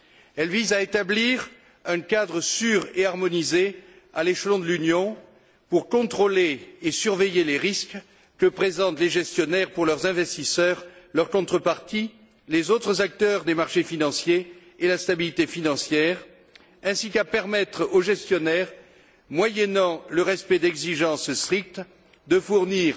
Elle vise à établir un cadre sûr et harmonisé à l'échelon de l'Union pour contrôler et surveiller les risques que présentent les gestionnaires pour leurs investisseurs, leurs contreparties, les autres acteurs des marchés financiers et la stabilité financière ainsi qu'à permettre aux gestionnaires, moyennant le respect d'exigences strictes, de fournir